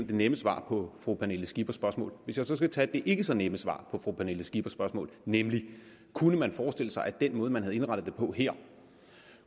det nemme svar på fru pernille skippers spørgsmål hvis jeg så skal tage det ikke så nemme svar på fru pernille skippers spørgsmål nemlig kunne man forestille sig at den måde man havde indrettet det på her